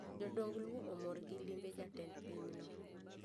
Jodong luo omor gi limbe jatend piny no